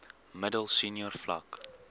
middel senior vlak